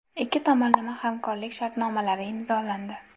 Ikki tomonlama hamkorlik sharnomalari imzolandi.